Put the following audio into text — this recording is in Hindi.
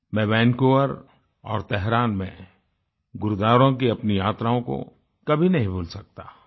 मैं वैंकूवर वैनकूवर और तेहरान तहरान में गुरुद्वारों की अपनी यात्राओं को कभी नहीं भूल सकता